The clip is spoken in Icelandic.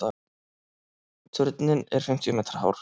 Turninn er fimmtíu metra hár.